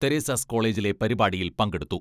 Teresa's കോളേജിലെ പരിപാടിയിൽ പങ്കെടുത്തു.